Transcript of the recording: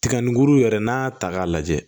Tiga ni guru yɛrɛ n'a y'a ta k'a lajɛ